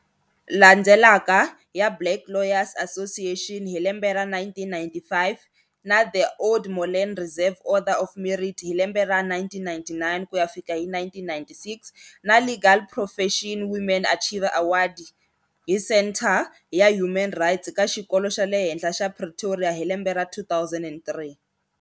Landzelaka, ya black lawyers association hi lembe ra 1995 na the oude molen reserve order of merit hi lembe ra, 1999-1996, na legal proffetion women achiever award hi centre ya human rights ka xikolo xa le henhla xa pretoria hi lembe ra 2003.